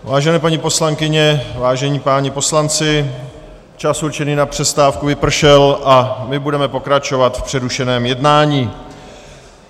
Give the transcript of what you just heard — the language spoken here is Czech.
Vážené paní poslankyně, vážení páni poslanci, čas určený na přestávku vypršel a my budeme pokračovat v přerušeném jednání.